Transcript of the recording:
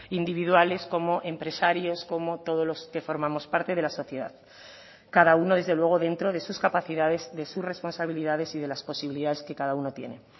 individuales como empresarios como todos los que formamos parte de la sociedad cada uno desde luego dentro de sus capacidades de sus responsabilidades y de las posibilidades que cada uno tiene